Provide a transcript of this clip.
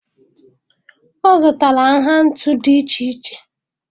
Ọ zụtara nha ntu dị iche iche.